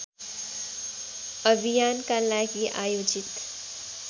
अभियानका लागि आयोजित